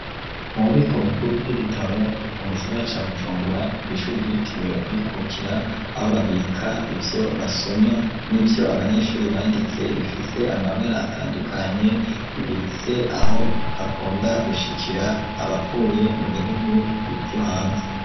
Mu bubiko bukuru w'ibitabo mu gisagara ca gucumbura kw'ishuri gitiriwe kwikukira aho babika ivyo basoma n'ivyo abanyeshuri banditse bifise amabara atandukanye ibitse aho hakunda gushikira abavuye mu bihugu ivyo hanze.